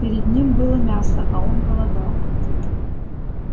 перед ним было мясо а он голодал